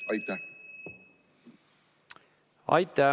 Aitäh!